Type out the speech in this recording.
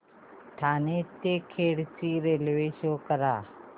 ठाणे ते खेड ची railway show करा